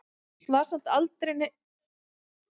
Var samt aldrei neitt hrifin af honum, það var ekki það.